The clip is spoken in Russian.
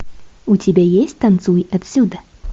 у тебя есть танцуй отсюда